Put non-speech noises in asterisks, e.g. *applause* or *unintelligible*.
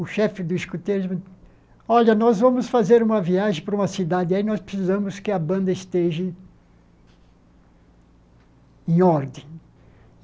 O chefe do escoteiro, *unintelligible* olha, nós vamos fazer uma viagem para uma cidade, aí nós precisamos que a banda esteja em ordem.